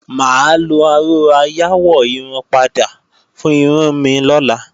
Mà á lo aró ayáwọ̀-irun-padà fún irun mi lọ́la